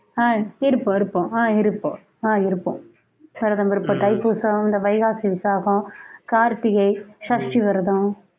ஆஹ் இருப்போம் இருப்போம் ஆஹ் இருப்போம் ஆஹ் இருப்போம் விரதம் இருப்போம் தைப்பூசம் இந்த வைகாசி விசாகம் கார்த்திகை சஷ்டி விரதம்